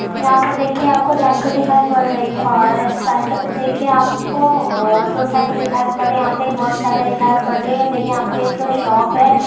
यह पे देखिये आपको साइकिल दिखाई पड़ रही है और साइकिल पे देखिये आपको और दो साइकिल दिखाई पड़ी यहां पे एक मोटरसाइकिल दिखाई पड़ रही है देखिये यहां पे एक शॉप है।